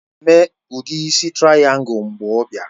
Ọ ga-eme udi isi traìyangul mgbe ọ bịara